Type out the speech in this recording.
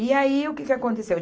E aí, o que que aconteceu?